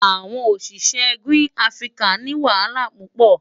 Awon osise Green Africa ni wahala pupo.